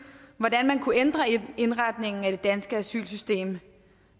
hvordan man kunne ændre indretningen af det danske asylsystem